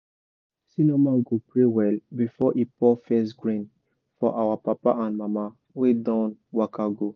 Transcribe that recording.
senior man go pray well before he pour first grain for our papa and mama wey don waka go.